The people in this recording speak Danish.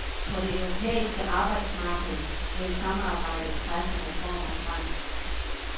På det europæiske arbejdsmarked vil samarbejdet presse reformer frem.